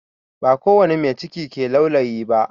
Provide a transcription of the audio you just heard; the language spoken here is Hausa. Ba kowani mai ciki ke laulayi ba